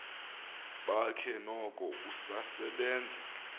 bakhe noko usasebenza